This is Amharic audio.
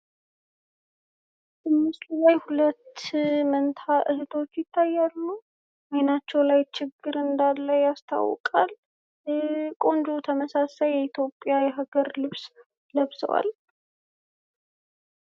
በምስሉ ላይ ሁለት መንታ እህቶች ይታያሉ። አይናቸው ላይ ችግር እንዳለ ያስታውቃል። ቆንጆ ተመሳሳይ የኢትዮጵያ የሀገር ልብስ ለብሰዋል።